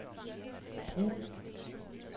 brug